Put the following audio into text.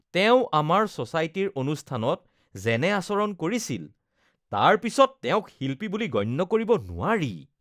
তেওঁ আমাৰ ছ'চাইটিৰ অনুষ্ঠানত যেনে আচৰণ কৰিছিল তাৰ পিছত তেওঁক শিল্পী বুলি গণ্য কৰিব নোৱাৰি